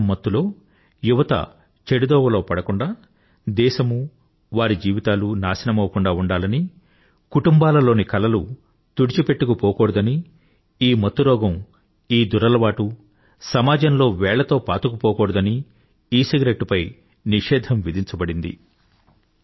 ఈ కొత్త రకం మత్తులో యువత చెడుదోవలో పడకుండా దేశము వారి జీవితాలూ నాశనమవకుండా ఉండాలని కుటుంబాలలోని కలలు తుడిచిపెట్టుకుపోకూడదని ఈ మత్తు రోగం ఈ దురలవాటు సమాజంలో వేళ్లతో పాతుకుపోకూడదని ఈసిగరెట్టు పై నిషేధం విధించబడింది